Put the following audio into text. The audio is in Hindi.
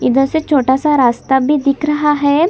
इधर से छोटा सा रास्ता भी दिख रहा है।